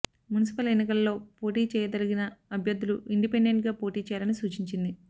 municipal ఎన్నికలలో పోటీ చేయదలిచిన అభ్యర్థులు ఇండిపెండెంట్గా పోటీ చేయాలని సూచించింది